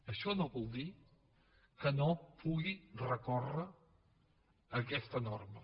això no vol dir que no pugui recórrer contra aquesta norma